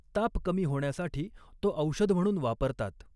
ताप कमी होण्यासाठी तोऔषध म्हणून वापरतात.